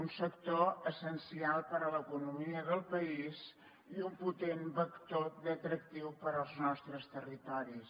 un sector essencial per a l’economia del país i un potent vector d’atractiu per als nostres territoris